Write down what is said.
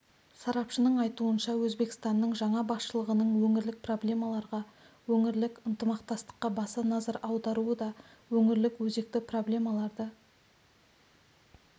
сарапшының айтуынша өзбекстанның жаңа басшылығының өңірлік проблемаларға өңірлік ынтымақтастыққа баса назар аударуы да өңірлік өзекті проблемаларды